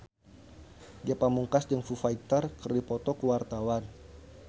Ge Pamungkas jeung Foo Fighter keur dipoto ku wartawan